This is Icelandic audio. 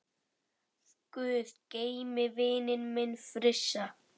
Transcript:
Guð geymi vininn minn Frissa.